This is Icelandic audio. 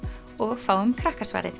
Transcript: og fáum